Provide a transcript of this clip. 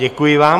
Děkuji vám.